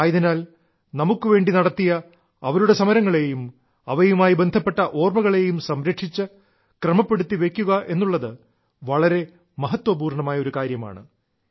ആയതിനാൽ നമുക്കുവേണ്ടി നടത്തിയ അവരുടെ സമരങ്ങളെയും അവയുമായി ബന്ധപ്പെട്ട ഓർമ്മകളേയും സംരക്ഷിച്ച് ക്രമപ്പെടുത്തി വെയ്ക്കുക എന്നുള്ളത് വളരെ മഹത്വപൂർണ്ണമായ കാര്യമാണ്